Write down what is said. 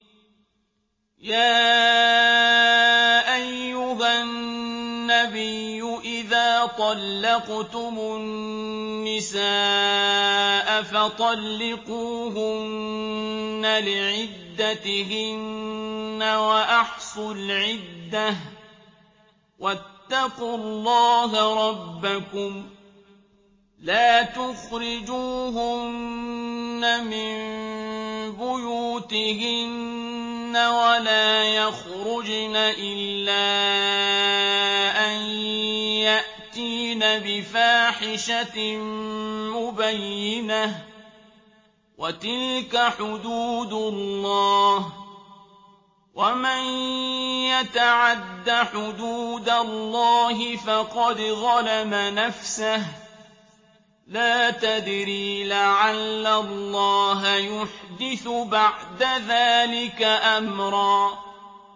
يَا أَيُّهَا النَّبِيُّ إِذَا طَلَّقْتُمُ النِّسَاءَ فَطَلِّقُوهُنَّ لِعِدَّتِهِنَّ وَأَحْصُوا الْعِدَّةَ ۖ وَاتَّقُوا اللَّهَ رَبَّكُمْ ۖ لَا تُخْرِجُوهُنَّ مِن بُيُوتِهِنَّ وَلَا يَخْرُجْنَ إِلَّا أَن يَأْتِينَ بِفَاحِشَةٍ مُّبَيِّنَةٍ ۚ وَتِلْكَ حُدُودُ اللَّهِ ۚ وَمَن يَتَعَدَّ حُدُودَ اللَّهِ فَقَدْ ظَلَمَ نَفْسَهُ ۚ لَا تَدْرِي لَعَلَّ اللَّهَ يُحْدِثُ بَعْدَ ذَٰلِكَ أَمْرًا